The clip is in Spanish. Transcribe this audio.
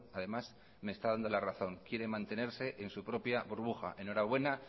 además me está dando la razón quiere mantenerse en su propia burbuja enhorabuena